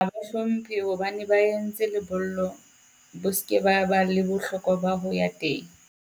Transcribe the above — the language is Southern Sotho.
Ha ba hlomphe hobane ba e entse lebollo bo se ke ba ba le bohlokwa ba ho ya teng.